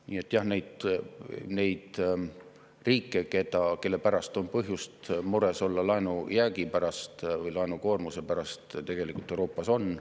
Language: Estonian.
Nii et jah, neid riike, kelle pärast on põhjust mures olla laenujäägi pärast või laenukoormuse pärast, Euroopas on.